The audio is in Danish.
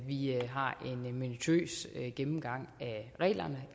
vi har en minutiøs gennemgang af reglerne